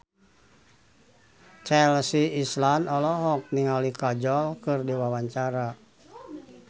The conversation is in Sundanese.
Chelsea Islan olohok ningali Kajol keur diwawancara